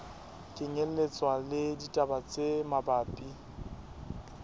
kenyelletswa le ditaba tse mabapi